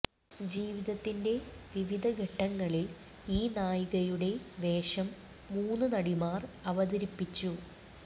ജീവിതത്തിന്റെ വിവിധ ഘട്ടങ്ങളിൽ ഈ നായികയുടെ വേഷം മൂന്ന് നടിമാർ അവതരിപ്പിച്ചു